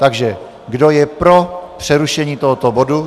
Takže kdo je pro přerušení tohoto bodu?